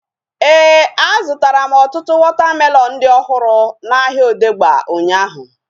Éè, a zụtara m ọtụtụ wọta melọnu dị ọhụrụ n'ahia Odegba ụnyaahụ